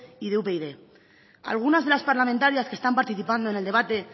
y de upyd algunas de las parlamentarias que están participando en el debate